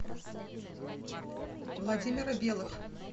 владимира белых